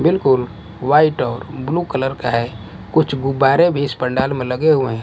बिल्कुल व्हाईट और blue colour का है कुछ गुब्बारे भी इस पंडाल में लगे हुए हैं।